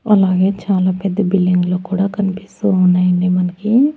అలాగే చాలా పెద్ద బిల్డింగ్ లు కూడా కనిపిస్తూ ఉన్నాయండి మనకి.